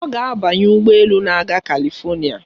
Ọ ga-abanye ụgbọ elu na-aga Kalifonịa.